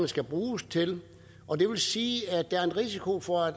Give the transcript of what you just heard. skal bruges til og det vil sige at der er en risiko for at